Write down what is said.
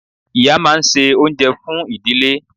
Ìyá máa n se oúnjẹ fún ìdílé